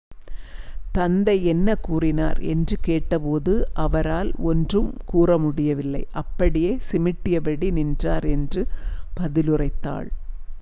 "தந்தை என்ன கூறினார் என்று கேட்டபோது "அவரால் ஒன்றும் கூற முடியவில்லை - அப்படியே சிமிட்டியபடி நின்றார்" என்று பதிலுரைத்தாள்.